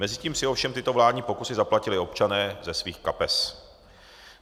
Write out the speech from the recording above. Mezitím si ovšem tyto vládní pokusy zaplatili občané ze svých kapes.